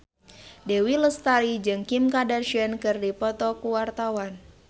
Dewi Lestari jeung Kim Kardashian keur dipoto ku wartawan